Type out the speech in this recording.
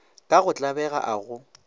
ka go tlabega a go